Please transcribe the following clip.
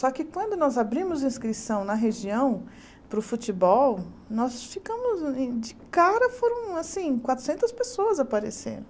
Só que quando nós abrimos a inscrição na região para o futebol, nós ficamos... De cara foram assim quatrocentas pessoas aparecendo.